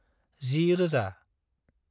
10000